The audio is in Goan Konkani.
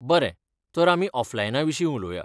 बरें, तर आमी ऑफलायना विशीं उलोवया.